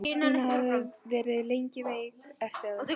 Stína hafði verið lengi veik eftir það.